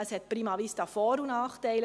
Dieses hat prima vista Vor- und Nachteile.